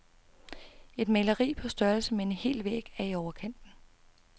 Et maleri på størrelse med en hel væg er i overkanten.